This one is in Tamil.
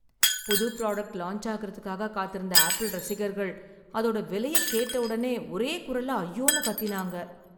புது புராடக்ட் லான்ச் ஆகுறதுக்காக காத்திருந்த ஆப்பிள் ரசிகர்கள், அதோட விலையை கேட்ட உடனே ஒரே குரல்ல ஐயோன்னு கத்தினாங்க.